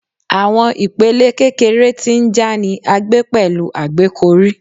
Awọn ipele kekere ti nja ni a gbe pẹlu agbekọri